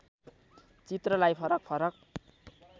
चित्रलाई फरक फरक